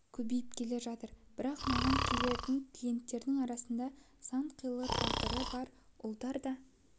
көбейіп келе жатыр бірақ маған келетін клиенттердің арасында сан қилы тағдыры бар ұлдар да